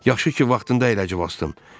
Yaxşı ki, vaxtında əyləci basdım.